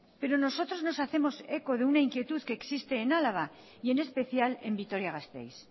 pero nosotros nos hacemos eco de una inquietud que existe en álava y en especial en vitoria gasteiz